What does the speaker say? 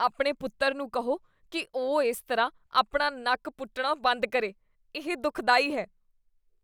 ਆਪਣੇ ਪੁੱਤਰ ਨੂੰ ਕਹੋ ਕੀ ਉਹ ਇਸ ਤਰ੍ਹਾਂ ਆਪਣਾ ਨੱਕ ਪੁੱਟਣਾ ਬੰਦ ਕਰੇ। ਇਹ ਦੁਖਦਾਈ ਹੈ।